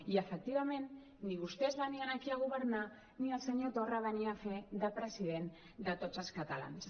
i efectivament ni vostès venien aquí a governar ni el senyor torra venia a fer de president de tots els catalans